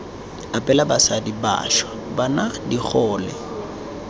abela basadi bašwa bana digole